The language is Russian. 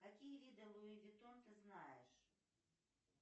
какие виды луи ветон ты знаешь